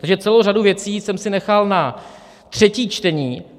Takže celou řadu věcí jsem si nechal na třetí čtení.